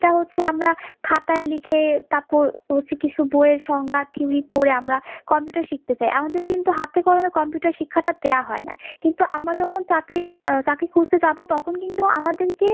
এটা হচ্ছে আমরা খাতাই লিখে তারপর হচ্ছে কিছু বই এর সংজ্ঞা theory পরে আমারা computer শিখতে চাই, আমাদের কিন্তু হাতে কলমে computer শিক্ষা টা দেওয়া হয় না, কিন্তু আমরা যখন চাকরির চাকরি করতে যাব তখন কিন্তু আমাদের কে